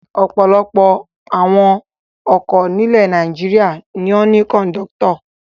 Ọ̀pọ̀lọpọ̀ awọn ọkọ̀ nílẹ̀ Nàìjíríà ni ó ní kọ̀ńdọ́tọ̀.